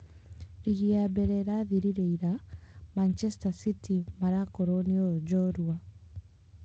Rigi ya mbere ĩrathirire ira, Manchester city marakorwo nĩo njoorua.